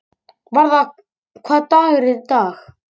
Varða, hvaða dagur er í dag?